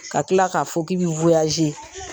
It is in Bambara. Ka tila k'a fɔ k'i bɛ